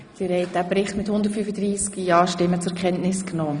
Sie haben den Bericht zur Kenntnis genommen.